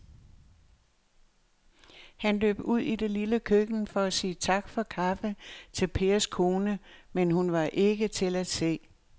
Han løb ud i det lille køkken for at sige tak for kaffe til Pers kone, men hun var ikke til at se.